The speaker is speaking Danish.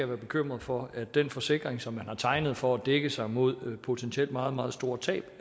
være bekymret for at den forsikring som de har tegnet for at dække sig mod potentielt meget meget store tab